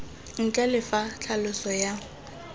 ntle le fa tlhaloso ya